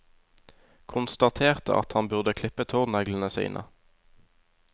Konstaterte at han burde klippe tåneglene sine.